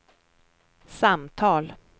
samtal